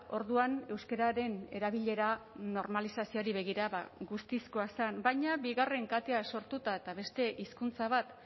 orduan euskararen erabilera normalizazioari begira ba guztizkoa zen baina bigarren katea sortuta eta beste hizkuntza bat